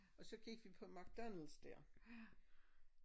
Og så gik vi på McDonald's dér